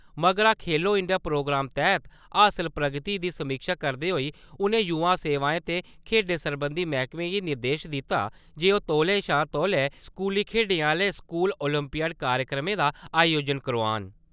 मगरा Khelo India program तैह्त हासल प्रगति दी समीक्षा करदे होई उ`नें युवा सेवाएं ते खेढें सरबंधी मैह्कमे गी निर्देश दित्ता जे ओह् तौले शा तौले स्कूली खेढें आह्‌ले स्कूल ओलंपियाड कार्यक्रमें दा आयोजन करोआन।